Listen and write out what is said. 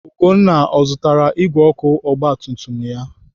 Ugonna ọ zụtara igwe ọkụ ogbatumtum ya?